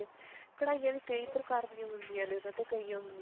ਕਢਾਈਆਂ ਵੀ ਕਈ ਪ੍ਰਕਾਰ ਦੀਆਂ ਹੁੰਦੀਆਂ ਨੇ ਉਹਨਾ ਚੋਂ ਕਈ